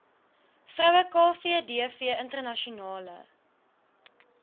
vroue kvdv internasionale